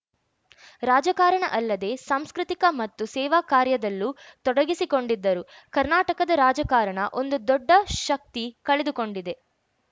ರಾಜಕಾರಣ ಅಲ್ಲದೆ ಸಾಂಸ್ಕೃತಿಕ ಮತ್ತು ಸೇವಾ ಕಾರ್ಯದಲ್ಲೂ ತೊಡಗಿಸಿಕೊಂಡಿದ್ದರು ಕರ್ನಾಟಕದ ರಾಜಕಾರಣ ಒಂದು ದೊಡ್ಡ ಶಕ್ತಿ ಕಳೆದುಕೊಂಡಿದೆ